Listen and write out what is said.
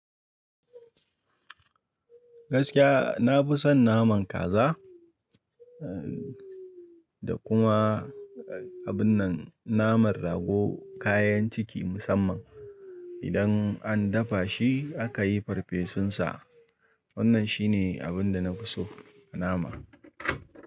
Gaskiya na fi son naman kaza eh da kuma eh abun nan naman rago kayan ciki musamman idan an dafa shi aka yi farfesun sa. Wannan shi ne abin da na fi so a nama.